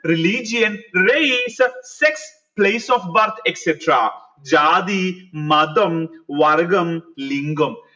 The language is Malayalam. religion place sex place of birth etc ജാതി മതം വർഗ്ഗം ലിംഗം